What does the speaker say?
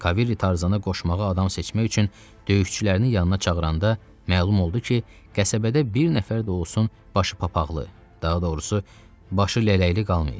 Kaviri Tarzana qoşmağa adam seçmək üçün döyüşçülərini yanına çağıranda məlum oldu ki, qəsəbədə bir nəfər də olsun başı papaq, daha doğrusu, başı lələkli qalmayıb.